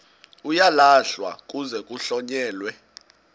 uyalahlwa kuze kuhlonyelwe